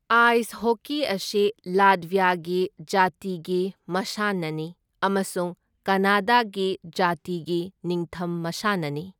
Ice hockey ꯑꯁꯤ ꯂꯥꯠꯚ꯭ꯌꯥꯒꯤ ꯖꯥꯇꯤꯒꯤ ꯃꯁꯥꯟꯅꯅꯤ ꯑꯃꯁꯨꯡ ꯀꯅꯥꯗꯥꯒꯤ ꯖꯥꯇꯤꯒꯤ ꯅꯤꯡꯊꯝ ꯃꯁꯥꯟꯅꯅꯤ꯫